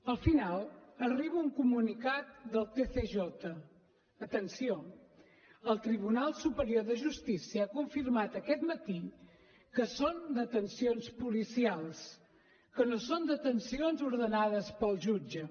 al final arriba un comunicat del tsj atenció el tribunal superior de justícia ha confirmat aquest matí que són detencions policials que no són detencions ordenades pel jutge